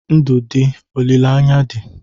Ndụ dị, olileanya dị.